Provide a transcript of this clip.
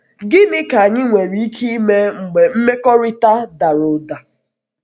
Gịnị um ka anyị nwere ike ime mgbe um mmekọrịta dara mmekọrịta dara ụda?